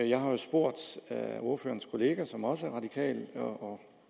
jeg har spurgt ordførerens kollega som også er radikal og